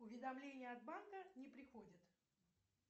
уведомления от банка не приходят